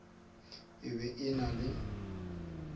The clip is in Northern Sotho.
e be e na le